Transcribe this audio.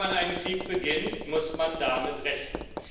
Wenn man einen Krieg beginnt, muss man damit rechnen.